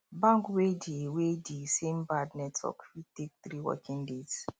bank wey di wey di same bad network fit take 3 working days